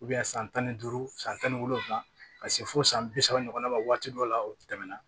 san tan ni duuru san tan ni wolonwula ka se fo san bi saba ɲɔgɔnna ma waati dɔw la o tɛmɛna